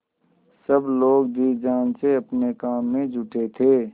सब लोग जी जान से अपने काम में जुटे थे